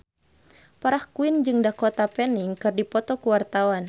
Farah Quinn jeung Dakota Fanning keur dipoto ku wartawan